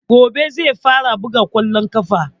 Gobe zai fara buga ƙwallon ƙafa